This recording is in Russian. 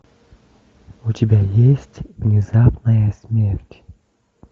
у тебя есть внезапная смерть